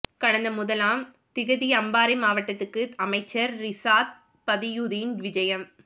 கடந்த முதலாம் திகதி அம்பாறை மாவட்டத்துக்கு அமைச்சர் றிசாத் பதியுதீன் விஜயம்